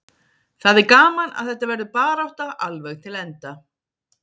Það er gaman að þetta verður barátta alveg til enda.